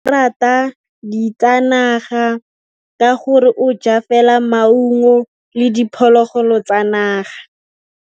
Tshekô o rata ditsanaga ka gore o ja fela maungo le diphologolo tsa naga.